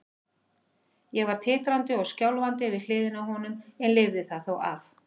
Ég var titrandi og skjálfandi við hliðina á honum en lifði það þó af.